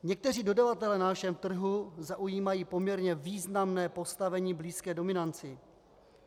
Někteří dodavatelé na našem trhu zaujímají poměrně významné postavení blízké dominanci.